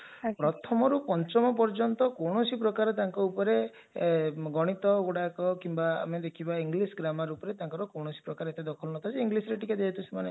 ଆଜ୍ଞା ପ୍ରଥମରୁ ପଞ୍ଚମ ପର୍ଯ୍ୟନ୍ତ କୌଣସି ପ୍ରକାର ତାଙ୍କ ଉପରେ ଗଣିତଗୁଡାକ କିମ୍ବା ଆମେ ଦେଖିବା english grammar ଉପରେ ତାଙ୍କର କୌଣସି ପ୍ରକାର ଏତେ ଦଖଲ ନଥାଏ ଯେ englishରେ ଟିକେ ଯେହେତୁ ସେମାନେ